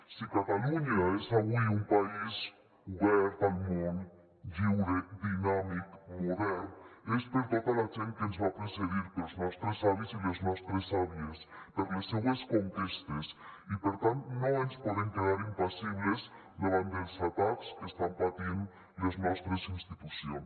si catalunya és avui un país obert al món lliure dinàmic modern és per tota la gent que ens va precedir pels nostres avis i les nostres àvies per les seues conquestes i per tant no ens podem quedar impassibles davant dels atacs que estan patint les nostres institucions